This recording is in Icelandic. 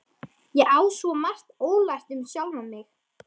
Ég á svo margt ólært um sjálfa mig.